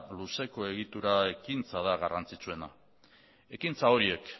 luzeko egitura ekintza da garrantzitsuena ekintza horiek